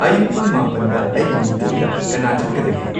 ꯑꯌꯨꯛ ꯄꯨꯡ ꯃꯥꯄꯟꯗ ꯑꯩꯒꯤ ꯃꯤꯇꯤꯡꯗ ꯀꯅꯥ ꯆꯠꯀꯗꯒꯦ